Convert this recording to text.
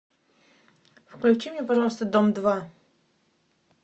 включи мне пожалуйста дом два